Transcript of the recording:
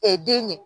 den ɲɛ